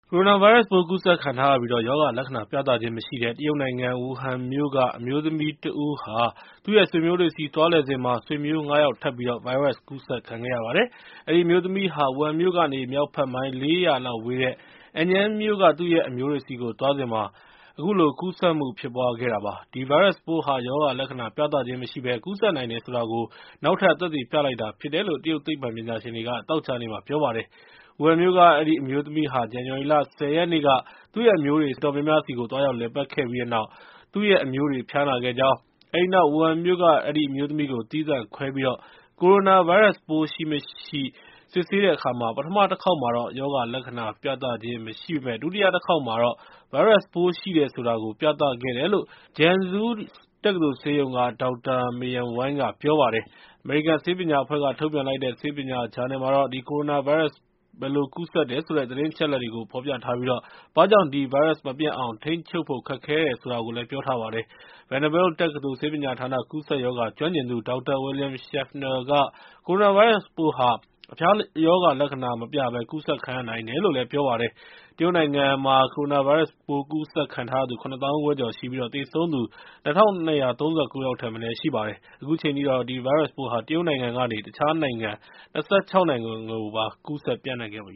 ကိုရိုနာဗိုင်းရပ်စ်ပိုး ကူးစက်ခံထားရပြီး ရောဂါလက္ခဏာ ပြသခြင်းမရှိတဲ့ တရုတ်နိုင်ငံ ဝူဟန်မြို့က အမျိုးသမီးတဦးဆီကနေ သူ့ရဲ့ ဆွေမျိုးတွေဆီ သွားလည်စဉ်မှာ ဆွေမျိုး ၅ ယောက် ထပ်ပြီး ဗိုင်းရပ်စ်ပိုး ကူးစက်ခံခဲ့ရပါတယ်။ အဲဒီအမျိုးသမီးဟာ ဝူဟန်မြို့ကနေ မြောက်ဘက် မိုင် ၄၀၀ လောက်ဝေးတဲ့ Anyang မြို့က သူ့ရဲ့အမျိုးတွေဆီကို သွားစဉ်မှာ ကူးစက်မှု ဖြစ်ပွားခဲ့တာပါ။ ဒီဗိုင်းရပ်စ်ပိုးဟာ ရောဂါလက္ခဏာ ပြသခြင်းမရှိဘဲ ကူးစက်နိုင်တယ်ဆိုတာကို နောက်ထပ် သက်သေပြလိုက်တာပဲ ဖြစ်တယ်လို့ တရုတ်သိပ္ပံပညာရှင်တွေက သောကြာနေ့မှာ ပြောကြားခဲ့ပါတယ်။ ဝူဟန်မြို့က အဲဒီအမျိုးသမီးဟာ ဇန်နဝါရီ ၁၀ ရက်နေ့က သူ့ရဲ့အမျိုးတွေ အတော်များများဆီ သွားရောက်လည်ပတ်ခဲ့ပြီးတဲ့နောက် သူ့ရဲ့အမျိုးတွေဟာ ဖျားနာခဲ့ကြောင်း၊ အဲဒီနောက် ဝူဟန်မြို့က အဲဒီအမျိုးသမီးကို သီးသန့်ခွဲပြီး ကိုရိုနာဗိုင်းရပ်စ်ပိုး ရှိမရှိ စစ်တဲ့အခါမှာ ပထမတခါမှာ လက္ခဏာပြသခြင်း မရှိပေမယ့် ဒုတိယတခါမှာတော့ ဗိုင်းရပ်စ်ပိုးရှိတယ်ဆိုတာကို ပြသခဲ့တယ်လို့ Zhengzhou တက္ကသိုလ်ဆေးရုံက Dr. Meiyun Wang က ပြောပါတယ်။ အမေရိကန် ဆေးပညာအဖွဲ့က ထုတ်ပြန်လိုက်တဲ့ ဆေးပညာဂျာနယ်မှာတော့ ဒီ ကိုရိုနာဗိုင်းရပ်စ် ဘယ်လိုကူးစက်တယ်ဆိုတဲ့ သတင်းအချက်အလက်တွေကို ဖော်ပြထားပြီး ဘာကြောင့် ဒီဗိုင်းရပ်စ်မပြန့်အောင် ထိန်းချုပ်ဖို့ ခက်ခဲနိုင်တယ်လို့လည်း ပြောပါတယ်။ Vanderbilt တက္ကသိုလ် ဆေးပညာဌာနက ကူးစက်ရောဂါကျွမ်းကျင်သူ ဒေါက်တာ William Schaffner က ကိုရိုနာဗိုင်းရပ်စ်ပိုးဟာ အဖျားရောဂါလက္ခဏာ မပြဘဲ ကူးစက်ခံရနိုင်တယ်လို့ ပြောပါတယ်။ တရုတ်နိုင်ငံမှာ ကိုရိုနာဗိုင်းရပ်စ်ပိုး ကူးစက်ခံထားရသူ ၇ သောင်းခွဲကျော်ရှိပြီး သေဆုံးသူ ၂၂၃၉ ယောက်ထက်မနည်း ရှိပါတယ်။ အခုချိန်ထိတော့ ဒီဗိုင်းရပ်စ်ပိုးဟာ တရုတ်နိုင်ငံကနေ တခြားနိုင်ငံ ၂၆ နိုင်ငံကိုပါ ကူးစက်ပျံ့နှံ့ခဲ့ပ